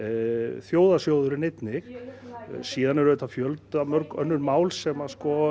þjóðarsjóðurinn einnig síðan eru auðvitað fjöldamörg önnur mál sem